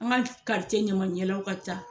An ka ɲaman ɲɛlaw ka ca